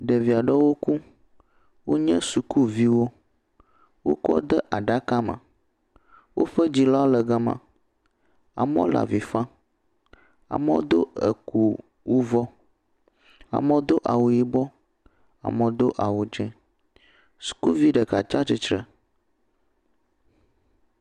Ɖevi aɖewo ku. Wonye sukuviwo. Wokɔ wo ɖe aɖaka me. Woƒe dzilawo le fima. Amewo le avi fam, amewo do eju wu vɔ. Amewo do awu yibɔ, amewo do awu dzɛ. Sikuvi ɖeka tsia tsitre.